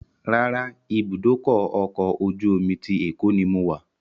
Rárá, ìbúdókọ̀ ọ̀kọ̀ ojú omi ti Èkó ni mo wà